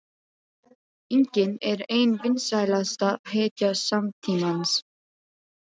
inginn er ein vinsælasta hetja samtímans.